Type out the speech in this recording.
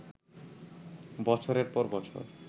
বছরের পর বছর